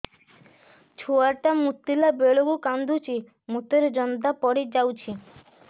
ଛୁଆ ଟା ମୁତିଲା ବେଳକୁ କାନ୍ଦୁଚି ମୁତ ରେ ଜନ୍ଦା ପଡ଼ି ଯାଉଛି